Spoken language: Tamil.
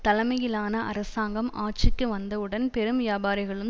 தலைமையிலான அரசாங்கம் ஆட்சிக்கு வந்தவுடன் பெரும் வியாபாரிகளும்